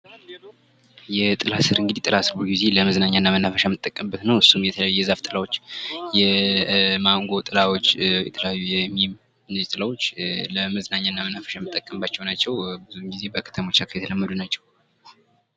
የጥላ ስር የጥላ ስር እንግዲ ሁል ጊዜ ለመዝናኛና ለመናፈሻነት የምንጠቀምበት ነው። እሱም የተለየ የዛፍ ጥላዎቻ የማንጎ ጥላዎች የተለያዩ የሚም እነዚህ ጥላዎች ለመዝናኛነት እና ለመናፈሻ የምንጠቀምባቸው ናቸው። ብዙ ጊዜ ከተሞች አካባቢ የተለመዱ ናቸው።